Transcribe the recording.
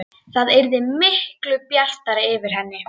Það yrði miklu bjartara yfir henni.